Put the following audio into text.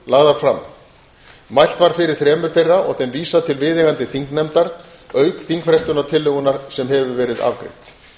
lagðar fram mælt var fyrir þremur þeirra og þeim vísað til viðeigandi þingnefndar auk þingfrestunartillögunnar sem hefur verið afgreidd